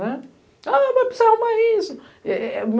né. Ah, mas precisa arrumar isso. É é é